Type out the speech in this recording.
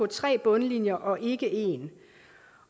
tre bundlinjer og ikke én